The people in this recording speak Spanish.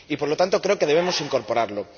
Y por lo tanto, creo que debemos incorporarlo.